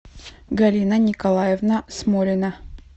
галина николаевна смолина